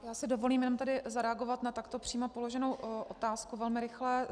Já si dovolím jenom tady zareagovat na takto přímo položenou otázku velmi rychle.